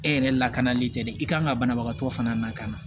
E yɛrɛ lakanali tɛ dɛ i kan ka banabagatɔ fana na ka na